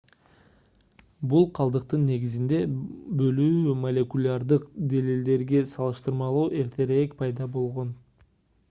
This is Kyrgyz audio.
бул калдыктын негизинде бөлүү молекулярдык далилдерге салыштырмалуу эртерээк пайда болгон